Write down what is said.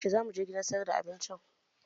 Yaushe zamu je gidan sayar da abinci?